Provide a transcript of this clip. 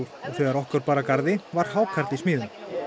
þegar okkur bar að garði var hákarl í smíðum